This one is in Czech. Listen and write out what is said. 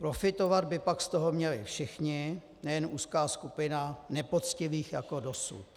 Profitovat by pak z toho měli všichni, nejen úzká skupina nepoctivých jako dosud.